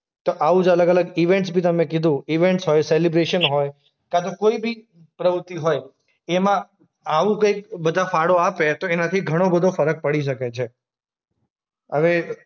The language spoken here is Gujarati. તો આવું જ અલગ-અલગ ઈવેન્ટ્સ બી તમે કીધું. ઈવેન્ટ્સ હોય, સેલિબ્રેશન હોય કાં તો કોઈ બી પ્રવૃત્તિ હોઈ એમાં આવું કંઈક બધા ફાળો આપે તો એનાથી ઘણો બધો ફરક પડી શકે છે. હવે